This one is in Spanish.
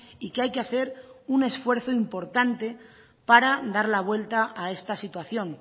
y que hay que hacer un esfuerzo importante para dar la vuelta a esta situación